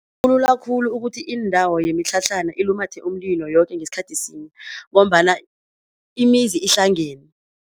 Kulula khulu ukuthi indawo yemitlhatlhana ilumathe umlilo yoke ngesikhathi sinye ngombana imizi ihlangene.